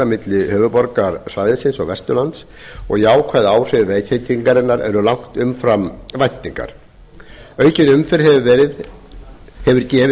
milli höfuðborgarsvæðisins og vesturlands og jákvæð áhrif vegtengingarinnar er langt umfram væntingar aukin umferð hefur gefið